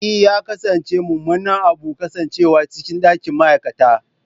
E! ya kasance mummunan abu kasancewa cikin ɗakin ma'aikata.